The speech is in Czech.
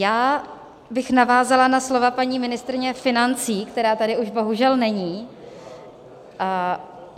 Já bych navázala na slova paní ministryně financí, která tady už bohužel není.